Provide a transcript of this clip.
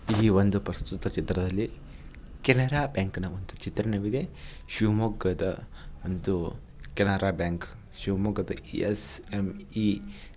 ಈ ಒಂದು ಪ್ರಸ್ತುತ ಚಿತ್ರದಲ್ಲಿ ಕೆನರಾ ಬ್ಯಾಂಕ್ ನ ಒಂದು ಚಿತ್ರವಿದೆ. ಶಿವಮೊಗ್ಗದ ಒಂದು ಕೆನರಾ ಬ್ಯಾಂಕ್ ಶಿವಮೊಗ್ಗದಲ್ಲಿ ಎಸ್_ಎಮ್ _ಈ --